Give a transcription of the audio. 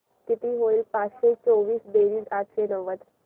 किती होईल पाचशे चोवीस बेरीज आठशे नव्वद